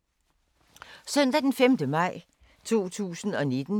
Søndag d. 5. maj 2019